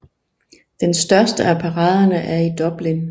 Den største af paraderne er i Dublin